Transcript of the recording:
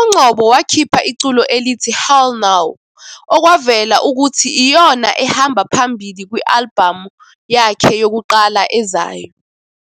uNgcobo wakhipha iculo elithi " Hell Naw " okwavela ukuthi iyona ehamba phambili kwi-albhamu yakhe yokuqala ezayo.